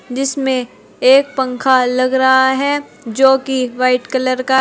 जिसमें एक पंखा लग रहा है जो की वाइट कलर का--